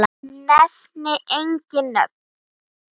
Nefni engin nöfn.